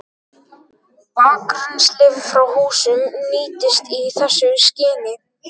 Bakrennsli frá húsum nýtist í þessu skyni.